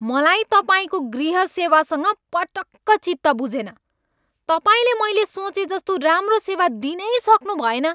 मलाई तपाईँको गृह सेवासँग पटक्क चित्त बुझेन। तपाईँले मैले सोचेजस्तो राम्रो सेवा दिनै सक्नुभएन।